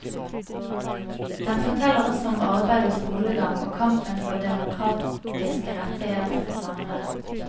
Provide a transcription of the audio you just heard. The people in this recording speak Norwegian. Den forteller også om arbeid og skolegang og kampen for demokratiske rettigheter for samene.